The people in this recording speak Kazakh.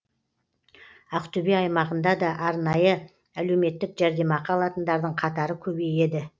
ақтөбе аймағында да арнайы әлеуметтік жәрдемақы алатындардың қатары көбейеді